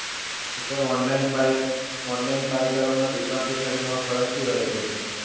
online buy કરવામાં અને દુકાનથી ખરીદવામાં ફર્ક શું રહ્યો તો પછી Sir